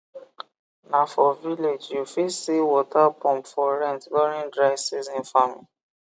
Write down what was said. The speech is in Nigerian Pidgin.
na for village u fit see water pump for rent during dry season farming